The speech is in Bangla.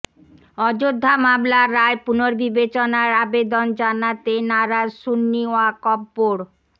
অযোধ্যা মামলার রায় পুনর্বিবেচনার আবেদন জানাতে নারাজ সুন্নি ওয়াকফ বোর্ড